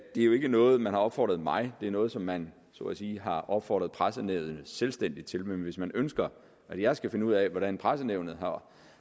det jo ikke er noget som man har opfordret mig det er noget som man så at sige har opfordret pressenævnet selvstændigt til men hvis man ønsker at jeg skal finde ud af hvordan pressenævnet